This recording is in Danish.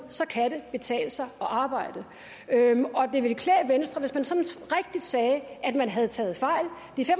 så kan det betale sig at arbejde det ville klæde venstre hvis man sagde at man har taget fejl